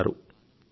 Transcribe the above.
ధన్యవాదాలు సర్